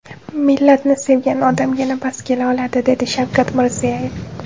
Millatni sevgan odamgina bas kela oladi”, dedi Shavkat Mirziyoyev.